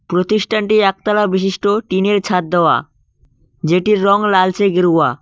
প্রতিষ্ঠানটি একতলা বিশিষ্ট টিনের ছাদ দেওয়া যেটির রং লালচে গেরুয়া।